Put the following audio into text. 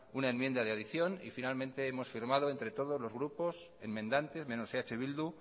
una enmienda de adicción y finalmente hemos firmado entre todos los grupos enmendantes menos eh bildu